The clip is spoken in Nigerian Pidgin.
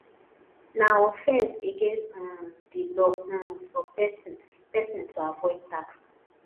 na offense against um di law um for person person to avoid tax